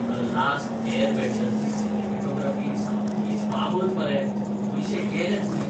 "The Last Airbender" ची cinematography सामकीच बाबत मरे, पयशे गेले चुलींत!